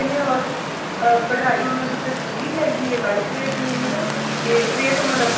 ਨੇ or ਅਹ ਕਢਾਈ ਉਹਨਾਂ ਦੇ ਉੱਤੇ ਪੂਰੀ ਹੈਗੀ ਐ light weight ਨੇ ਹਨਾ ਤੇ rate ਉਹਨਾ ਦਾ ਕੁੱਛ